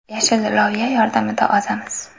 Yashil loviya yordamida ozamiz.